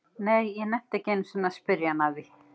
Nei, ég nennti ekki einu sinni að spyrja hann að því